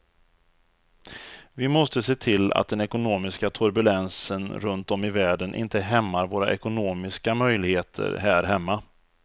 Vi måste se till att den ekonomiska turbulensen runt om i världen inte hämmar våra ekonomiska möjligheter här hemma.